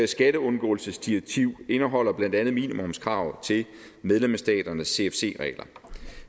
skatteundgåelsesdirektiv indeholder blandt andet minimumskrav til medlemsstaternes cfc regler